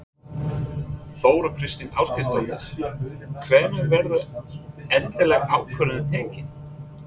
Þóra Kristín Ásgeirsdóttir: Hvenær verður endaleg ákvörðun tekin?